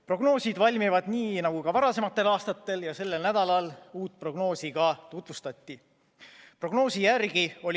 Prognoosid valmivad nii nagu ka varasematel aastatel ja sellel nädalal tutvustati meile uut prognoosi.